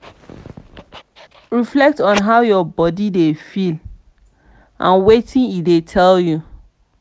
reflect on how your body dey feel and wetin e dey tell you